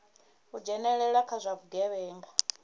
u dzhenelela kha zwa vhugevhenga